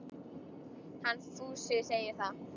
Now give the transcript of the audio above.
Hann Fúsi segir það.